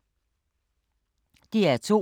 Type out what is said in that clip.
DR2